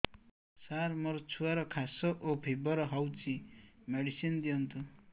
ସାର ମୋର ଛୁଆର ଖାସ ଓ ଫିବର ହଉଚି ମେଡିସିନ ଦିଅନ୍ତୁ